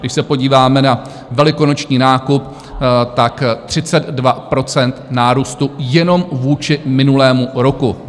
Když se podíváme na velikonoční nákup, 32 % nárůstu jenom vůči minulému roku.